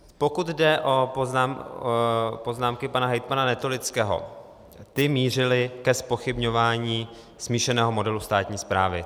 Pokud jde o poznámky pana hejtmana Netolického, ty mířily ke zpochybňování smíšeného modelu státní správy.